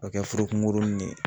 O be kɛ furu kungurunin ne ye